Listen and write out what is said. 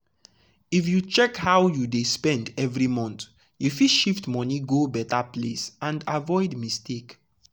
if you check how you dey spend every month you fit shift money go better place and avoid mistake.